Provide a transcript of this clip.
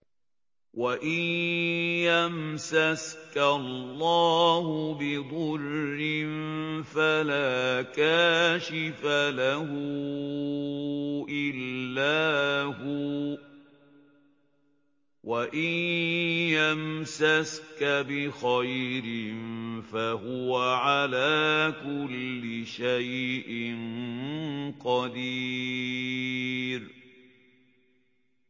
وَإِن يَمْسَسْكَ اللَّهُ بِضُرٍّ فَلَا كَاشِفَ لَهُ إِلَّا هُوَ ۖ وَإِن يَمْسَسْكَ بِخَيْرٍ فَهُوَ عَلَىٰ كُلِّ شَيْءٍ قَدِيرٌ